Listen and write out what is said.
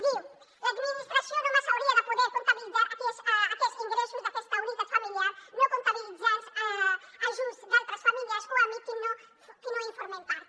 diu l’administració només hauria de poder comptabilitzar aquells ingressos d’aquesta unitat familiar no comptabilitzant ajuts d’altres famílies o amics que no en formen part